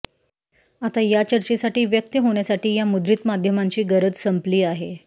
आता या चर्चेसाठी व्यक्त होण्यासाठी या मुद्रित माध्यमांची गरज संपली आहे